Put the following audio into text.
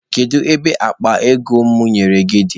Kedu ebe akpa ego m nyere gị dị?